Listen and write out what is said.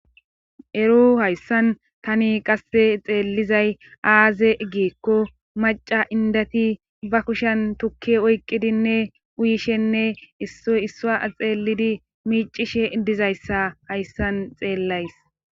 Eru hayssan tani qasse xeellizay aaze egikko maca indati ba kushen tukki oyqqidinne uyishenne issoy issa xeelidi miicishe dizayssa hayssan xeellays